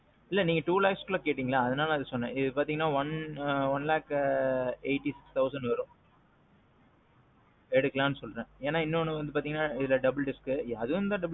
இல்ல நீங்க two lakhs இல்ல கேட்டீங்க. அதான் அதே சொன்னேன் இத பாத்தீங்கன்னா one lakh ஆ. eighty thousand வரும். எடுக்கலாம்னு சொன்னேன். ஏன்னா இதுல இன்னொன்னு பாத்தீங்கன்னா இதுல double disc, அதுவும்தான் double disc.